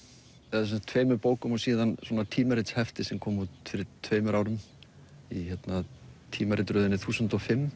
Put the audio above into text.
eða tveimur bókum og tímaritshefti sem kom út fyrir tveimur árum í tímaritaröðinni þúsund og fimm